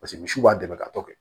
Paseke misiw b'a dɛmɛ ka tɔ kɛ